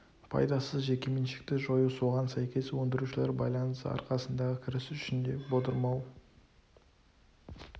пайдасыз жеке меншікті жою соған сәйкес өндірушілер байланысы арқасындағы кіріс үшін де болдырмау